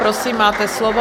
Prosím, máte slovo.